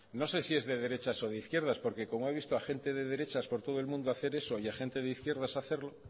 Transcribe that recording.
no sé si es de derechas o de izquierdas porque he visto a gente de derechas por todo el mundo hacer eso y a gente de izquierdas hacerlo